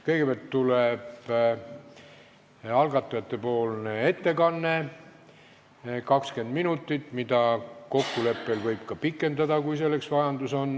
Kõigepealt on algatajate ettekanne 20 minutit, mida võib kokkuleppel ka pikendada, kui selleks on vajadust.